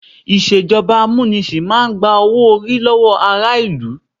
Ìṣèjọba amúnisìn máa gba owó-orí lọ́wọ́ ará ìlú.